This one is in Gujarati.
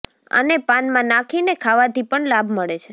આને પાનમાં નાખીને ખાવાથી પણ લાભ મળે છે